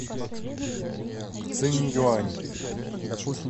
цинъюань